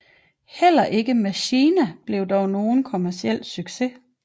Heller ikke MACHINA blev dog nogen kommerciel succes